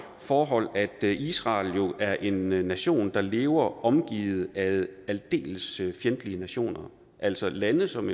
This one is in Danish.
forhold at israel jo er en nation der lever omgivet af aldeles fjendtlige nationer altså lande som